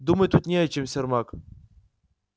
думать тут не о чем сермак